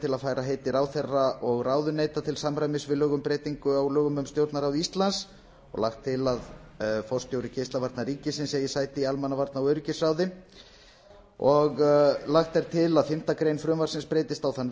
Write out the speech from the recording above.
til að færa heiti ráðherra og ráðuneyta til samræmis við lög um breytingu á lögum um stjórnarráð íslands og lagt til að forstjóri geislavarna ríkisins eigi sæti í almannavarna og öryggismálaráði lagt er til að fimmtu grein frumvarpsins breytist á þann veg